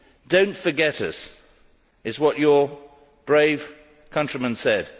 Don't forget us' is what your brave countrymen said.